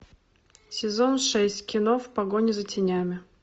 сезон шесть кино в погоне за тенями